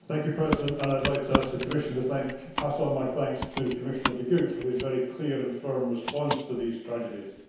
Mr President, I would like to ask the Commission to pass on my thanks to Commissioner De Gucht for his very clear and firm response to these tragedies.